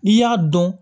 N'i y'a dɔn